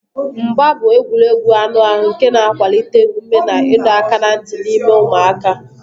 Mgba mgba bụ egwuregwu anụ ahụ nke na-akwalite ume na ịdọ aka ná ntị n'ime ụmụaka.